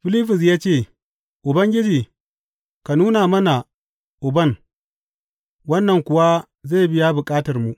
Filibus ya ce, Ubangiji, ka nuna mana Uban, wannan kuwa zai biya bukatarmu.